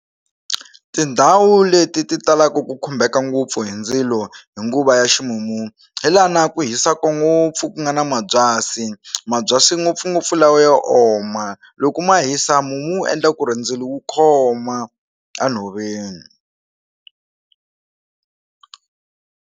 Tindhawu leti ti talaku ku khumbeka ngopfu hi ndzilo hi nguva ya ximumu hi laha na ku hisaku ngopfu ku nga na mabyasi mabyasi ngopfungopfu lawa yo oma loko ma hisa mumu wu endla ku ri ndzilo wu khoma a nhoveni.